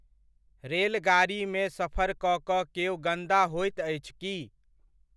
रेलगाड़ीमे सफर कऽ कऽ केओ गन्दा होइत अछि की?